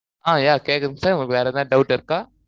அஹ் yeah கேக்குது sir உங்களுக்கு வேற எதாவது doubt இருக்க